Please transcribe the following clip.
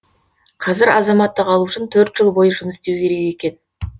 қазір азаматтық алу үшін төрт жыл бойы жұмыс істеуі керек екен